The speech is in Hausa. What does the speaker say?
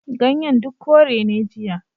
Ganyen duk kore ne jiya.